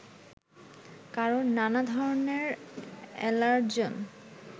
কারণ নানা ধরেনের এলার্জন